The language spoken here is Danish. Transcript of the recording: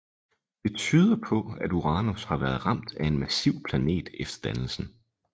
Det tyder på at Uranus har været ramt af en massiv planet efter dannelsen